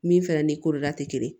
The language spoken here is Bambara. Min fɛnɛ ni koroda tɛ kelen ye